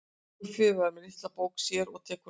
Guffi er með litla bók með sér og tekur nótur.